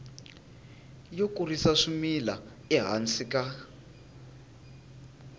yo kurisa swimila ehansi ka